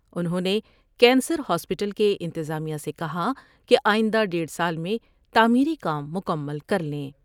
انہوں نے cancer hospital کے انتظامیہ سے کہا کہ آئند ہ دیڑھ سال میں تعمیری کام مکمل کر لیں ۔